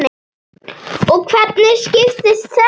Og hvernig skiptist þetta?